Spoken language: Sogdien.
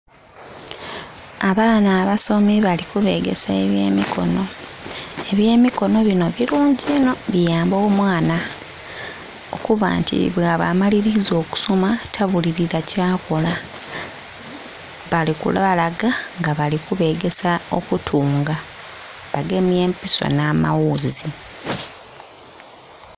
Abaana abasomi bali kubegesa eby'emikono, eby'emikono bino birungi inho biyamba omwana okuba nti amaliriza okusoma tabulirira kyakola bali kulwa laga nga bali kubegesa okutunga bagemye empiso n'amawuuzi.